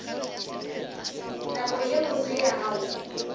nako ye botse ya go